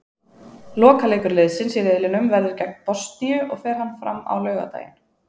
Lokaleikur liðsins í riðlinum verður gegn Bosníu og fer hann fram á laugardaginn.